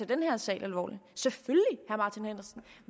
den her sag alvorligt